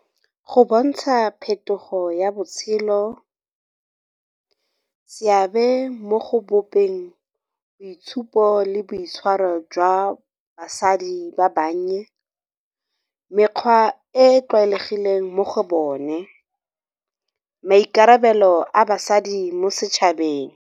Go bontsha phetogo ya botshelo, seabe mo go bopeng boitshupo le boitshwaro jwa basadi ba bannye, mekgwa e e tlwaelegileng mo go bone, maikarabelo a basadi mo setšhabeng.